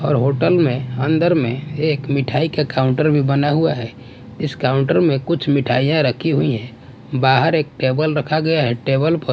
और होटल में अंदर में एक मिठाई का काउंटर भी बना हुआ है इस काउंटर में कुछ मिठाईयां रखी हुई हैं बाहर एक टेबल रखा गया है टेबल पर--